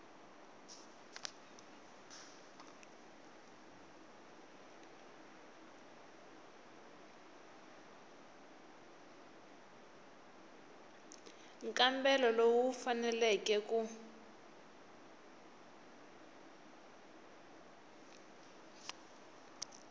nkambelo lowu wu faneleke ku